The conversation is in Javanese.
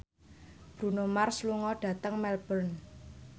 Bruno Mars lunga dhateng Melbourne